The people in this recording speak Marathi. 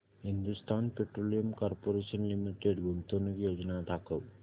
हिंदुस्थान पेट्रोलियम कॉर्पोरेशन लिमिटेड गुंतवणूक योजना दाखव